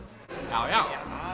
já já